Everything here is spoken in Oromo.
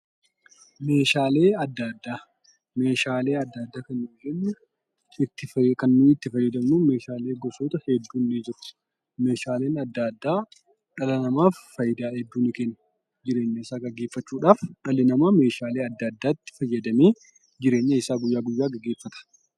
Meeshaalee addaa addaa kan dhalli namaa jireenya isaa ittiin gaggeeffachuuf itti fayyadamuudha. Innis jireenya isaa guyyaa guyyaa gaggeeffachuuuf kan isa fayyaduu dha.